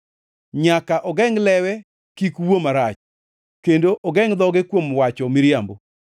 nyaka ogengʼ lewe kik wuo marach kendo ogengʼ dhoge kuom wacho miriambo.